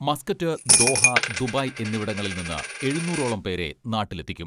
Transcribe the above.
Muscat, Doha, Dubai എന്നിവിടങ്ങളിൽ നിന്ന് എഴുനൂറോളം പേരെ നാട്ടിലെത്തിക്കും.